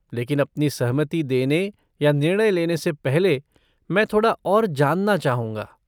लेकिन अपनी सहमति देने या निर्णय लेने से पहले, मैं थोड़ा और जानना चाहूँगा।